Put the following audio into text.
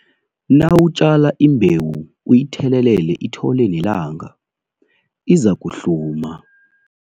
Nawutjala imbewu uyithelelele ithole nelanga, izakuhluma.